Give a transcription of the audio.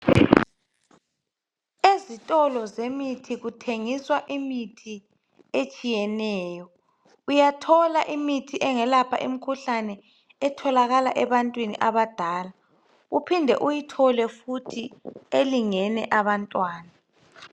Ezitolo zemithi kuthengiswa imithi etshiyeneyo, uyathola imithi engelalapha imhkuhlane engatholakala ebantwini abadala uphinde uyithole futhi elingene abantwana.